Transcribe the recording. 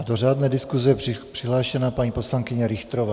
A do řádné diskuse přihlášená paní poslankyně Richterová.